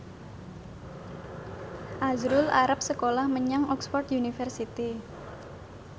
azrul arep sekolah menyang Oxford university